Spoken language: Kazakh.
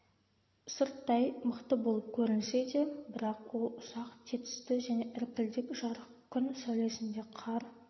сырттай мықты болып көрінсе де бірақ ол ұсақ тетісті және іркілдек жарық күн сәулесінде қар